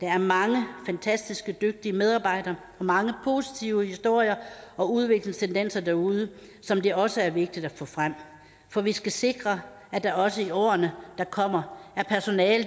der er mange fantastiske og dygtige medarbejdere og mange positive historier og udviklingstendenser derude som det også er vigtigt at få frem for vi skal sikre at der også i årene der kommer er personale